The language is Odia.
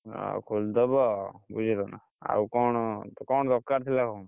ଆଉ ଖୋଲିଦବା ଆଉ ବୁଝିଲନା, ଆଉ କଣ କଣ ଦରକାର ଥିଲା କଣ?